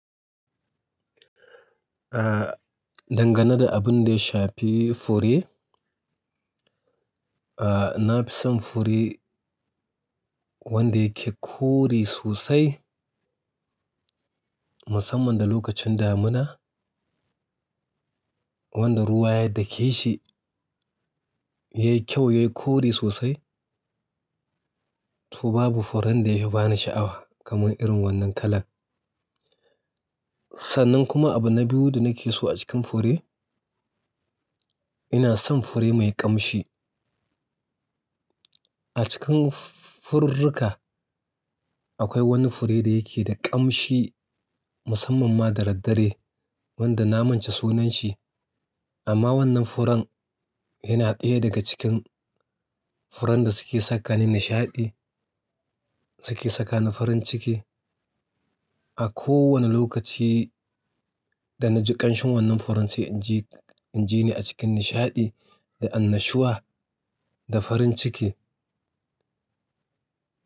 Dangane da abun da ya shafi fure, nafi son fure wanda yake kore sosai musamman da lokacin damuna. Wanda ruwa ya dake shi yayi kyau, yayi kore sosai. To babu furen da ya fi bani sha'awa kaman irin wannan kalan. Sannan kuma abu na biyu da nake so a cikin fure, ina son fure mai ƙamshi. A cikin fururruka akwai wani fure da yake da ƙamshi musamman ma da daddare wanda na manta sunanshi. Amma wannan furen yana ɗaya daga cikin furen da suke sakani nishaɗi, suke sakani farin ciki a kowane lokaci danaji ƙanshin wannan furen sai inji, inji ni a cikin nishaɗi da annashuwa da farin ciki.